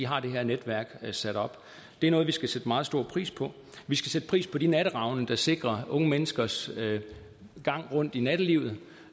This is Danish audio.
her netværk er sat op det er noget vi skal sætte meget stor pris på vi skal sætte pris på de natteravne der sikrer unge menneskers gang rundt i nattelivet